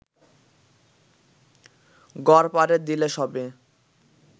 গড়পারে দিলে সবে